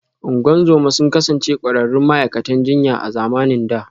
Ungozoma sun kasance ƙwararrun ma’aikatan jinya a zamanin da